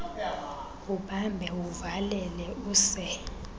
ubambe uvalele use